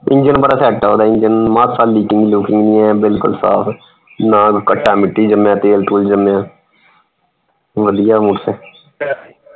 engine ਬੜਾ set ਹੈ ਓਹਦਾ engine ਮਾਸਾ leak ਲੁਕ ਨੀ ਹੈ ਬਿਲਕੁਲ ਸਾਫ, ਨਾ ਕੱਟਾ ਮਿਟੀ ਜਮਿਆ ਤੇਲ ਤੁਲ ਜਮਿਆ ਵਧੀਆ motorcycle